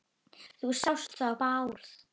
Þú sást þó Bárð?